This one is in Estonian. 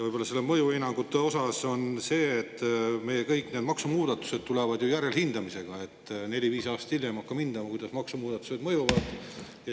Ja nende mõjuhinnangute osas on see, et meie kõik maksumuudatused tulevad ju järelhindamisega: neli-viis aastat hiljem hakkame hindama, kuidas maksumuudatused meid mõjutavad.